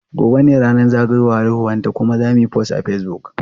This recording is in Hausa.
Gobe ​​ne zagayowar ranar haihuwarta kuma zamuyi post a Facebook.